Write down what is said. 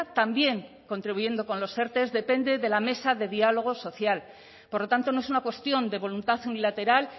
también contribuyendo con los erte depende de la mesa de diálogo social por lo tanto no es una cuestión de voluntad unilateral